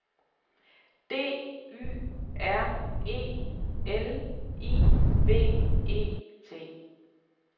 D Y R E L I V E T